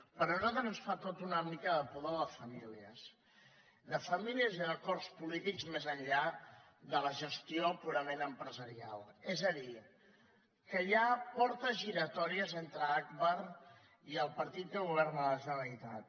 però a nosaltres ens fa tot una mica de pudor de famílies de famílies i d’acords polítics més enllà de la gestió purament empresarial és a dir que hi ha portes giratòries entre agbar i el partit que governa la generalitat